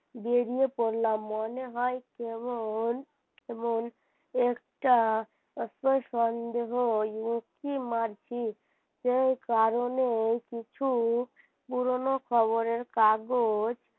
বেরিয়ে পড়লাম মনে হয় তেমন তেমন একটা সন্দেহ উঁকি মারছে যে কারণেই কিছু পুরনো খবরের কাগজ,